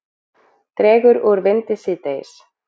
Dregur úr vindi síðdegis